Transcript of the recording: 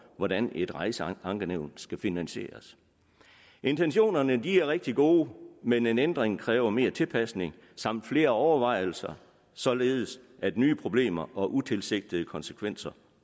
hvordan et rejseankenævn skal finansieres intentionerne er rigtig gode men en ændring kræver mere tilpasning samt flere overvejelser således at nye problemer og utilsigtede konsekvenser